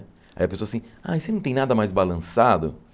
Aí a pessoa assim, ai, você não tem nada mais balançado?